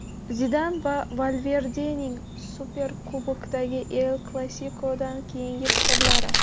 Zidan va Valverdening Superkubokdagi El-Klasikodan keyingi fikrlari.